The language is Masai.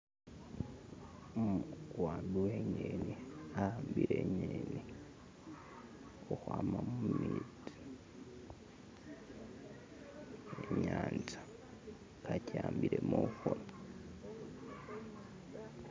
Umuwambi we ng'eni awambile ing'eni khukhwama mumetsi munyanza akiwambile mukhono